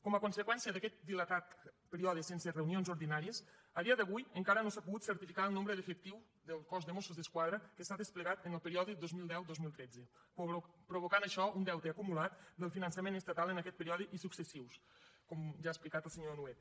com a conseqüència d’aquest dilatat període sense reunions ordinàries a dia d’avui encara no s’ha pogut certificar el nombre d’efectius del cos de mossos d’esquadra que s’ha desplegat en el període dos mil deu dos mil tretze i això provoca un deute acumulat del finançament estatal en aquest període i successius com ja ha explicat el senyor nuet